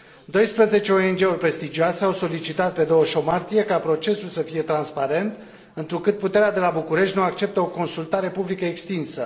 Douăsprezece ONG uri prestigioase au solicitat, pe 28 martie, ca procesul să fie transparent, întrucât puterea de la București nu acceptă o consultare publică extinsă.